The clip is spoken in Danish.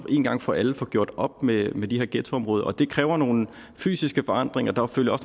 én gang for alle at få gjort op med med de her ghettoområder og det kræver nogle fysiske forandringer der følger